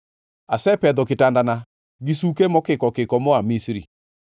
Asepedho kitandana gi suke mokikokiko moa Misri.